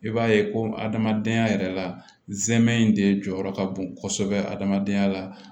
I b'a ye ko adamadenya yɛrɛ la zɛmɛn in de jɔyɔrɔ ka bon kosɛbɛ adamadenya la